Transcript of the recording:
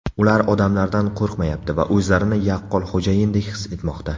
Ular odamlardan qo‘rqmayapti va o‘zlarini yaqqol xo‘jayindek his etmoqda.